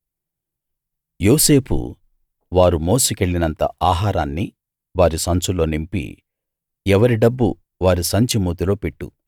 యోసేపు వారు మోసికెళ్ళినంత ఆహారాన్ని వారి సంచుల్లో నింపి ఎవరి డబ్బు వారి సంచి మూతిలో పెట్టు